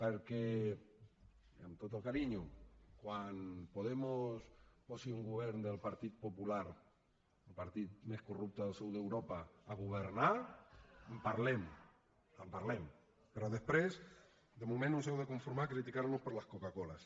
perquè amb tot el carinyo quan podemos posi un govern del partit popular el partit més corrupte del sud d’europa a governar en parlem en parlem però de moment us heu de conformar a criticar nos per les coca coles